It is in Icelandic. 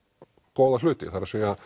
góða hluti það er